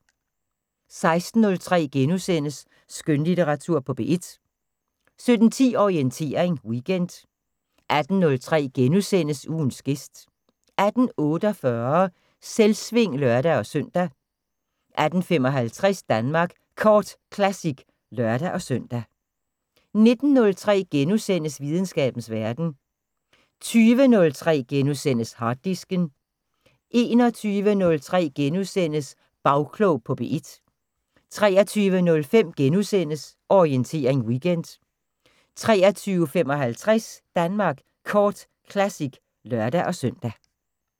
16:03: Skønlitteratur på P1 * 17:10: Orientering Weekend 18:03: Ugens gæst * 18:48: Selvsving (lør-søn) 18:55: Danmark Kort Classic (lør-søn) 19:03: Videnskabens Verden * 20:03: Harddisken * 21:03: Bagklog på P1 * 23:05: Orientering Weekend * 23:55: Danmark Kort Classic (lør-søn)